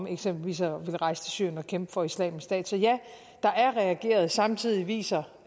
eksempelvis at rejse til syrien og kæmpe for islamisk stat så ja der er reageret samtidig viser